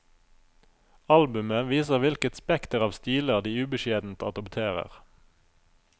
Albumet viser hvilket spekter av stiler de ubeskjedent adopterer.